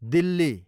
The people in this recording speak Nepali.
दिल्ली